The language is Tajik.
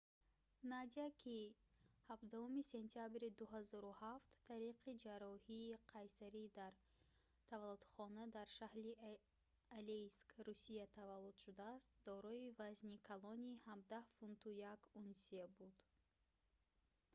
надя ки 17 сентябри 2007 тариқи ҷарроҳии қайсарӣ дар таваллудхона дар шаҳри алейск русия таваллуд шудааст дорои вазни калони 17 фунту 1 унсия буд